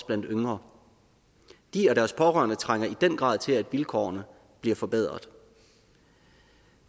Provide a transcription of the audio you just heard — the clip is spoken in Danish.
blandt yngre de og deres pårørende trænger i den grad til at vilkårene bliver forbedret